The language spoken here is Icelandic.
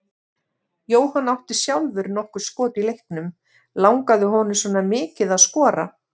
Jóhann átti sjálfur nokkur skot í leiknum, langaði honum svona mikið að skora?